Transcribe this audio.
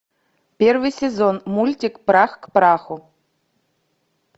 первый сезон мультик прах к праху